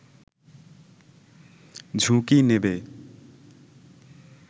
ঝুঁকি নেবে